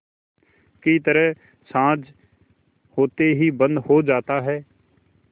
की तरह साँझ होते ही बंद हो जाता है